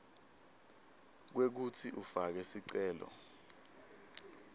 kwekutsi ufake sicelo